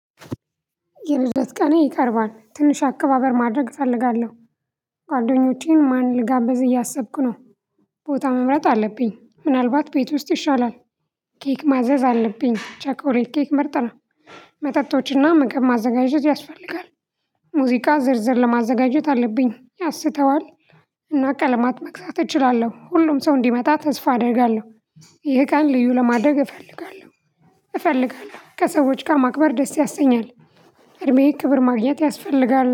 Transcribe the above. የምዘት ቀኔ ይቀርባል ትንሽ አከባበር ማድረግ እፈልጋለሁ ጓደኞቼን ማን ልጋበዝ እያሰብኩ ነው። ቦታ መምረጥ አለብኝ ምናልባት ቤት ውስጥ ይሻላል። ኬክ ማዘዝ አለብኝ ቸኮሌት ኬክ መርጥ ነው። መጠጦችና መግብ ማዘጋጀት ያስፈልጋል። ሙዚቃ ዝርዝር ለማዘጋጀት አለብኝ ያሰተዋል። እና ቀለማት መክሳት እችላለሁ ሁሉም ሰው እንዲመጣ ተስፋ አደርጋለሁ። ይሄ ቀን ልዩ ለማድረግ እፈልጋለሁ። እፈልጋለሁ ከሰዎች ጋር ማቅበር ደስ ያሰኛል። እድሜዬን ክብር ማግኘት ያስፈልጋል